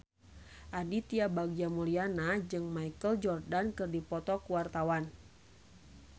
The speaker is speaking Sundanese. Aditya Bagja Mulyana jeung Michael Jordan keur dipoto ku wartawan